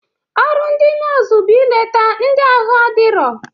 Ọrụ ndị nọọsụ bụ ileta ndị ahụ adirọ.